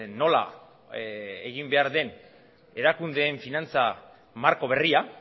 nola egin behar den erakundeen finantza marko berria